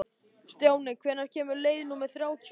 Stjáni, hvenær kemur leið númer þrjátíu?